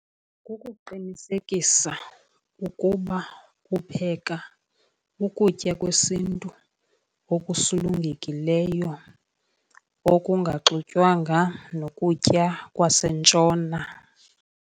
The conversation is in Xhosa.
Kukuqinisekisa ukuba upheka ukutya kwesintu okusulungekileyo, okungaxutywanga nokutya kwasentshona.